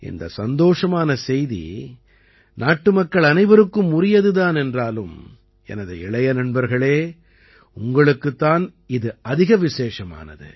இந்தச் சந்தோஷமான செய்தி நாட்டுமக்கள் அனைவருக்கும் உரியது தான் என்றாலும் எனது இளைய நண்பர்களே உங்களுக்குத் தான் இது அதிக விசேஷமானது